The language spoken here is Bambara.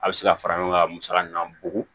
A bɛ se ka fara ɲɔgɔn ka musaka min na bugun